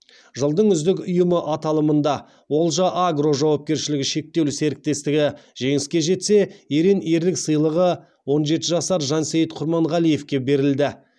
жылдың үздік ұйымы аталымында олжа агро жауапкершілігі шектеулі серіктестігі жеңіске жетсе ерен ерлік сыйлығы он жеті жасар жансейіт құрманғалиевке берілді